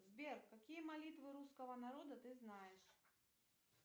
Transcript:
сбер какие молитвы русского народа ты знаешь